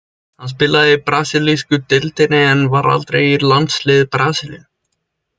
Hann spilaði í brasilísku deildinni en var aldrei í landsliði Brasilíu.